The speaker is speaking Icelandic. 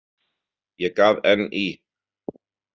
Ég gaf enn í.